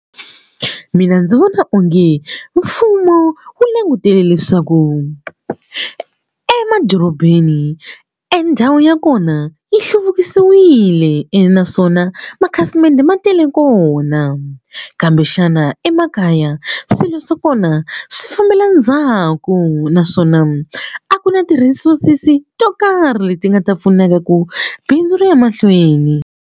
Mina ndzi vona onge mfumo wu langutele leswaku emadorobeni endhawu ya kona yi hluvukisiwile ene naswona makhasimende ma tele kona kambe xana emakaya swilo swa kona swi fambela ndzhaku naswona a ku na ti-resources to karhi leti nga ta pfunaka ku bindzu ri ya emahlweni.